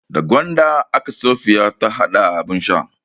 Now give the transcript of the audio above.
Da gwanda aka Safiya hada abin shan.